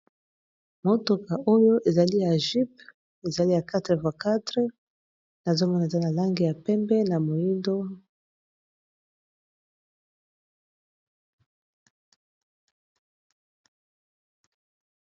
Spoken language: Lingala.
Mutuka oyo ezali ya jyp ezali ya 4x4 na zomona eza na lange ya pembe na moindo.